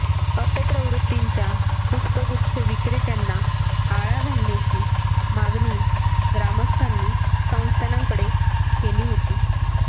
अपप्रवृत्तींच्या पुष्पगुच्छ विक्रेत्यांना आळा घालण्याची मागणी ग्रामस्थांनी संस्थानकडे केली होती